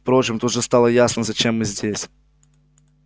впрочем тут же стало ясно зачем мы здесь